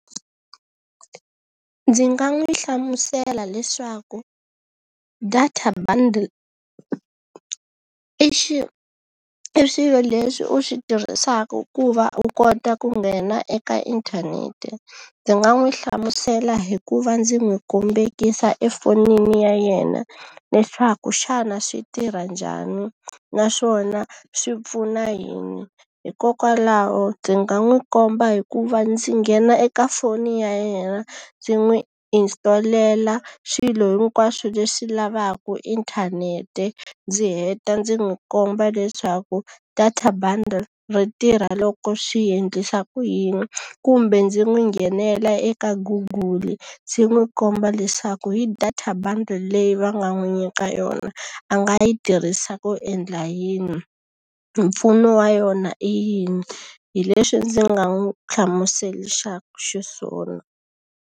Ndzi nga n'wi hlamusela leswaku data bundle i i xilo lexi u xi tirhisaka ku va u kota ku nghena eka inthanete. Ndzi nga n'wi hlamusela hi ku va ndzi n'wi kombekisa efonini ya yena leswaku xana swi tirha njhani, naswona swi pfuna yini. Hikokwalaho ndzi nga n'wi komba hi ku va ndzi nghena eka foni ya yena, ndzi n'wi install-ela swilo hinkwaswo leswi lavaka inthanete, ndzi heta ndzi n'wi komba leswaku data bundle ri tirha loko swi endlisa ku yini. Kumbe ndzi n'wi nghenela eka Google-i ndzi n'wi komba leswaku hi data bundle leyi va nga n'wi nyika yona, a nga yi tirhisa ku endla yini, mpfuno wa yona i yini. Hi leswi ndzi nga n'wi hlamuserisaka xiswona.